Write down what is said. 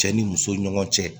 Cɛ ni muso ɲɔgɔn cɛ